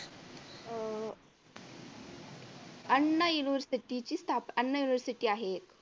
अह अण्णा university ची स्थापना अण्णा university आहे एक